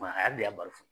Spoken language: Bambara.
a yɛrɛ de y'a bali